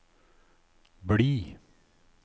bli